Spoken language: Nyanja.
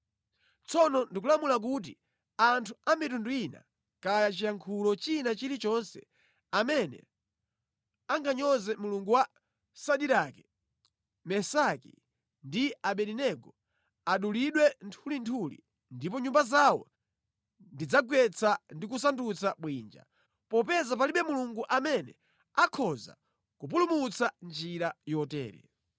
Tsono ndikulamula kuti anthu a mitundu ina kaya chiyankhulo china chili chonse amene anganyoze Mulungu wa Sadirake, Mesaki ndi Abedenego adulidwe nthulinthuli ndipo nyumba zawo ndidzagwetsa ndi kusandutsa bwinja, popeza palibe Mulungu amene akhoza kupulumutsa mʼnjira yotere.”